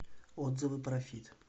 отзывы профит